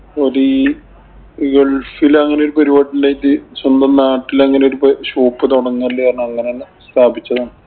ഒരീ gulf ഇല് അങ്ങനെ ഒരു പരിപാടി ഉണ്ടായിട്ട് സ്വന്തം നാട്ടില് അങ്ങനെ ഒരു shop തൊടങ്ങല് അങ്ങനെ കാരണം സ്ഥാപിച്ചതാണ്.